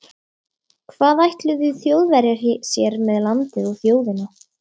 Hvað ætluðu Þjóðverjar sér með landið og þjóðina?